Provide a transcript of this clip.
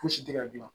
Fosi tɛ ka gilan